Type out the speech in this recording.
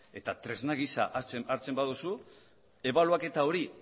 eta tresna gisa hartzen baduzu ebaluaketa hori